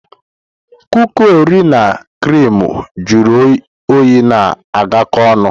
Kuki Orio na criimu juru oyi na-agakọ ọnụ.